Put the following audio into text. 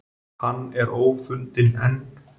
Hann er ófundinn enn